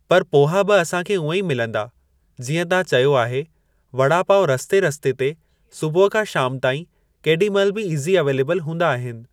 पर पोहा बि असांखे उएं ई मिलंदा जीअं तां चयो आहे वड़ा पाव रस्ते रस्ते ते सुबुहु खां शाम ताईं केॾी महिल बि ईज़ी अवेलेबिल हूंदा आहिनि।